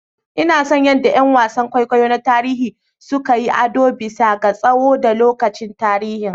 Ina son yadda ƴan wasan kwaikwayo na tarihi suka yi ado bisa ga tsoho da lokacin tarihi.